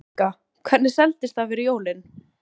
Helga: Hvernig seldist það fyrir jólin?